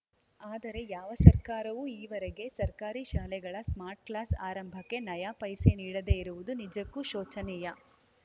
ಆದರೆ ಯಾವ ಸರ್ಕಾರವೂ ಈವರೆಗೆ ಸರ್ಕಾರಿ ಶಾಲೆಗಳ ಸ್ಮಾರ್ಟ್‌ಕ್ಲಾಸ್‌ ಆರಂಭಕ್ಕೆ ನಯಾ ಪೈಸೆ ನೀಡದೇ ಇರುವುದು ನಿಜಕ್ಕೂ ಶೋಚನೀಯ